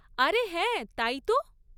আরে হ্যাঁ, তাই তো!